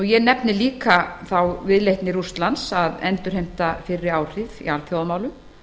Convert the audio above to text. ég nefni líka þá viðleitni rússlands að endurheimta fyrri áhrif í alþjóðamálum